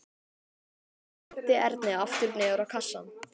Hann henti Erni aftur niður á kassann.